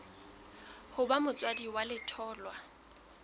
ho ba motswadi wa letholwa